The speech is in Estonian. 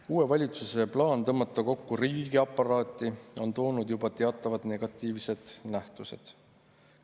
Uue valitsuse plaan tõmmata kokku riigiaparaati on toonud juba kaasa teatavaid negatiivseid nähtusi.